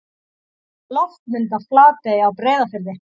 Loftmynd af Flatey á Breiðafirði.